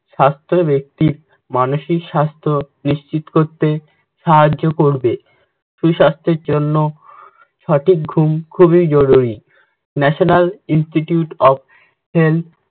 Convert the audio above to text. স্বাস্থ্য ব্যক্তির মানসিক স্বাস্থ্য নিশ্চিত করতে সাহায্য করবে। সুস্বাস্থ্যের জন্য সঠিক ঘুম খুবই জরুরি। national institute of health